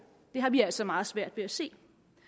det har vi altså meget svært ved at se